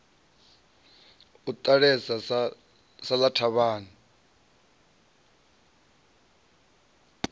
a ṱalela sa ḽa thavhani